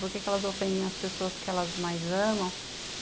Por que elas ofendem as pessoas que elas mais amam?